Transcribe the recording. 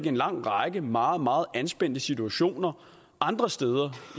en lang række meget meget anspændte situationer andre steder